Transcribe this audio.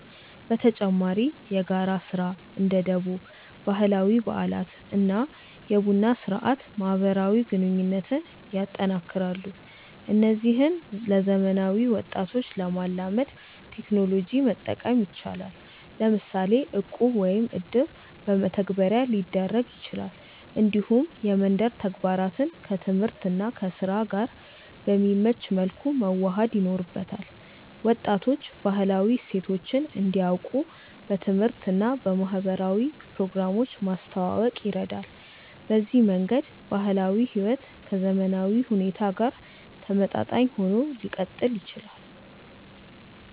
በተጨማሪ የጋራ ስራ (እንደ ደቦ)፣ ባህላዊ በዓላት እና የቡና ስርአት ማህበራዊ ግንኙነትን ያጠናክራሉ። እነዚህን ለዘመናዊ ወጣቶች ለማላመድ ቴክኖሎጂ መጠቀም ይቻላል፤ ለምሳሌ እቁብ ወይም እድር በመተግበሪያ ሊደረግ ይችላል። እንዲሁም የመንደር ተግባራትን ከትምህርት እና ከስራ ጋር በሚመች መልኩ መዋሃድ ይኖርበታል። ወጣቶች ባህላዊ እሴቶችን እንዲያውቁ በትምህርት እና በማህበራዊ ፕሮግራሞች ማስተዋወቅ ይረዳል። በዚህ መንገድ ባህላዊ ሕይወት ከዘመናዊ ሁኔታ ጋር ተመጣጣኝ ሆኖ ሊቀጥል ይችላል።